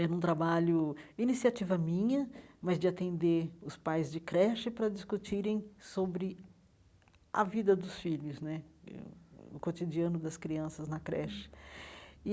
Era um trabalho, iniciativa minha, mas de atender os pais de creche para discutirem sobre a vida dos filhos né, eh hum o cotidiano das crianças na creche e.